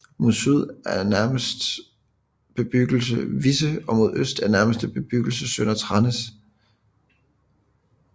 Mod syd er nærmeste bebyggelse Visse og mod øst er nærmeste bebyggelse Sønder Tranders